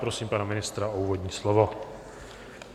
Prosím pana ministra o úvodní slovo.